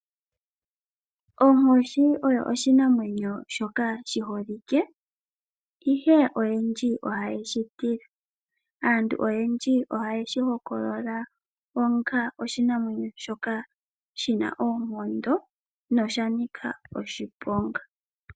Onkoshi oyo oshinamwenyo shoka shiholike ihe oyendji ohaye shi tila, aantu oyendji ohaye shihokolola onga oshinamwenyo shoka shina oonkondo na oshanika oshiponga.